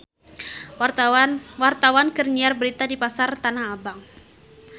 Wartawan keur nyiar berita di Pasar Tanah Abang